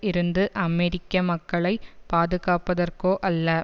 இருந்து அமெரிக்க மக்களை பாதுகாப்பதற்கோ அல்ல